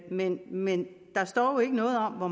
men men der står jo ikke noget om hvor